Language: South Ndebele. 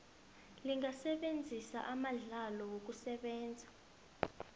lingasebenzisa amandlalo wokusebenza